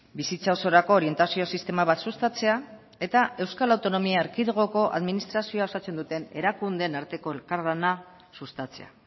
bizitza osorako orientazio sistema bat sustatzea eta euskal autonomia erkidegoko administrazioa osatzen duten erakundeen arteko elkarlana sustatzea